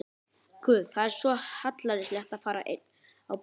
Guð, það er svo hallærislegt að fara ein á ball.